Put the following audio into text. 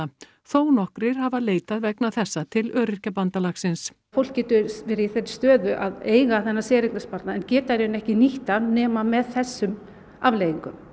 þó nokkrir hafa leitað vegna þessa til Öryrkjabandalagsins fólk getur verið í þeirri stöðu að eiga þennan séreignasparnað en geta ekki nýtt hann nema með þessum afleiðingum